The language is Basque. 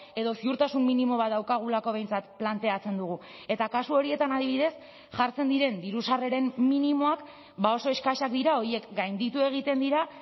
edo ziurtasun minimo bat daukagulako behintzat planteatzen dugu eta kasu horietan adibidez jartzen diren diru sarreren minimoak oso eskasak dira horiek gainditu egiten dira